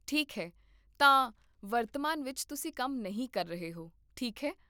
ਠੀਕ ਹੈ, ਤਾਂ, ਵਰਤਮਾਨ ਵਿੱਚ, ਤੁਸੀਂ ਕੰਮ ਨਹੀਂ ਕਰ ਰਹੇ ਹੋ, ਠੀਕ ਹੈ?